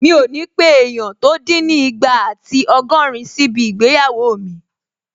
Mi ò ní pé èèyàn tó dín ní ìgbà àti ọgọ́rin síbi ìgbéyàwó mi